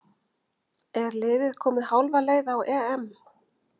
Er liðið komið hálfa leið á EM?